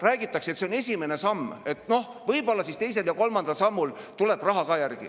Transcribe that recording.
Räägitakse, et see on esimene samm, et noh, võib-olla teise ja kolmanda sammu puhul tuleb raha ka järele.